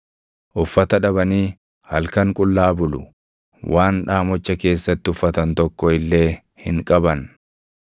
Uffata dhabanii halkan qullaa bulu; waan dhaamocha keessatti uffatan tokko illee hin qaban.